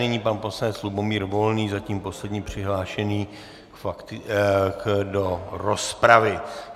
Nyní pan poslanec Lubomír Volný, zatím poslední přihlášený do rozpravy.